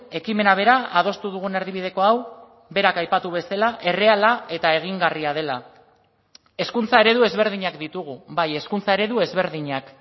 ekimena bera adostu dugun erdibideko hau berak aipatu bezala erreala eta egingarria dela hezkuntza eredu ezberdinak ditugu bai hezkuntza eredu ezberdinak